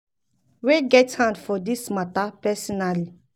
wey get hand for for dis mata personally um liable.